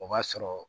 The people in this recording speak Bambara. O b'a sɔrɔ